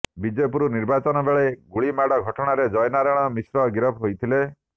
ବିଜେପୁର ନିର୍ବାଚନବେଳେ ଗୁଳିମାଡ଼ ଘଟଣାରେ ଜୟନାରାୟଣ ମିଶ୍ର ଗିରଫ ହୋଇଥିଲେ